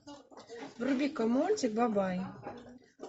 вруби ка мультик бабай